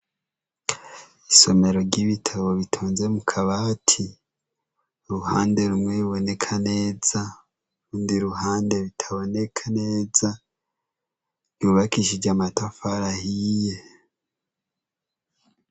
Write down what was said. Isomero ry'ibitabu bitonze mukabati, uruhande rumwe biboneka neza, urundi ruhande bitaboneka neza, vyubakishijee amatafari ahiye.